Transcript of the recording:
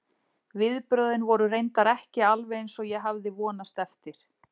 Viðbrögðin voru reyndar ekki alveg eins og ég hafði vonast eftir.